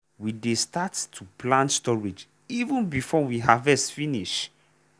we dey start to plan storage even before we harvest finish.